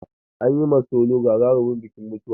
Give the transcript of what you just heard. An yi ma solo gagarumin bikin mutuwa.